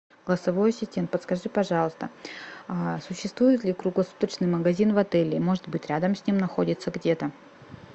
голосовой ассистент подскажи пожалуйста существует ли круглосуточный магазин в отеле может быть рядом с ним находится где то